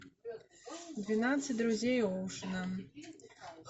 двенадцать друзей оушена